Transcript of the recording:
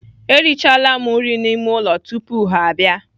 Erichala m nri n'ime ụlọ tupu ya abịa.